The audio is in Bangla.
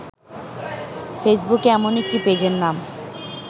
ফেসবুকে এমন একটি পেজের নাম